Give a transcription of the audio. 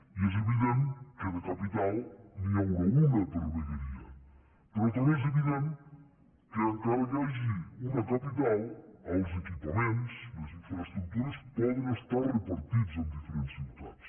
i és evident que de capital n’hi haurà una per vegueria però també és evident que encara que hi hagi una capital els equipaments les infraestructures poden estar repartits en diferents ciutats